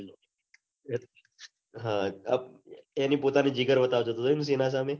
હ ની પોતાની જીગર વતાવતો તો એમ કે એના સામે